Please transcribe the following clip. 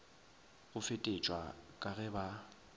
go fetetšwa ka ge ba